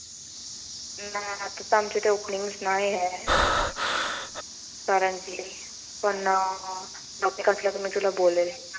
आमच्या इथे opening नाहिए. कारण की पण opening आसला की मी तुला बोलेल.